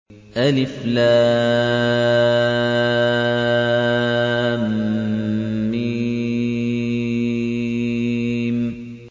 الم